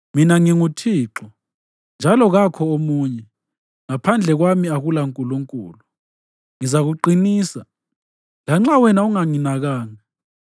Mina nginguThixo, njalo kakho omunye; ngaphandle kwami akulaNkulunkulu. Ngizakuqinisa, lanxa wena unganginakanga,